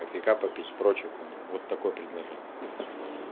кофейка попить прочая хуйня вот такое предложение